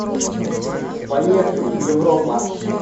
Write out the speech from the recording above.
поехали европа